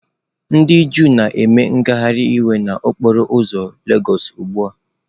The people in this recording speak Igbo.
Ndị Juu na-eme ngagharị iwe n'okporo ụzọ lagos ugbu a.